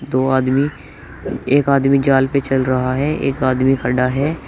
दो आदमी एक आदमी जाल पे चल रहा है एक आदमी खड़ा है।